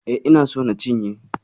E, ina so na cinye.